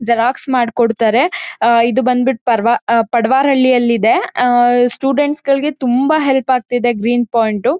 Xerox ಮಾಡ್ಕೊಡತಾರೆ. ಆಹ್ಹ್ ಇದು ಬಂದ್ಬಿಟ್ಟು ಪರ್ ಪಾಡ್ವಾರ್ ಹಳ್ಳಿಯಲ್ಲಿ ಇದೆ. ಆಹ್ಹ್ ಸ್ಟುಡೆಂಟ್ಸ್ ಗಳಿಗೆ ತುಂಬಾ ಹೆಲ್ಪ್ ಆಗ್ತಿದೆ ಗ್ರೀನ್ ಪಾಯಿಂಟ್ ಉ.